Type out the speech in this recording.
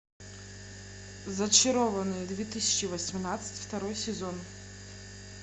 зачарованные две тысячи восемнадцать второй сезон